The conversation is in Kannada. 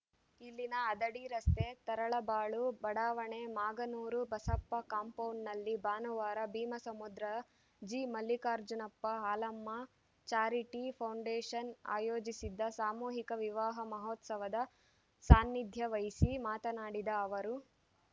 ಇಲ್ಲಿನ ಹದಡಿ ರಸ್ತೆ ತರಳಬಾಳು ಬಡಾವಣೆ ಮಾಗನೂರು ಬಸಪ್ಪ ಕಾಂಪೌಂಡ್‌ನಲ್ಲಿ ಭಾನುವಾರ Bheemasamudra G Mallikarjunappa Halamma charity foundation ಆಯೋಜಿಸಿದ್ದ ಸಾಮೂಹಿಕ ವಿವಾಹ ಮಹೋತ್ಸವದ ಸಾನ್ನಿಧ್ಯವಹಿಸಿ ಮಾತನಾಡಿದ ಅವರು